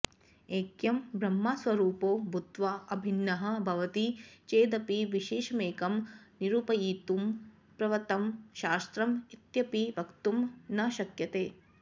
ऐक्यं ब्रह्मस्वरूपो भूत्वा अभिन्नः भवति चेदपि विशेषमेकं निरूपयितुं प्रवृत्तं शास्त्रम् इत्यपि वक्तुं न शक्यते